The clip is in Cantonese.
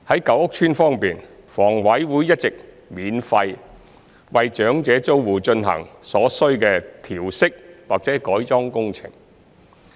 舊屋邨方面，房委會一直免費為長者租戶進行所需的調適或改裝工程。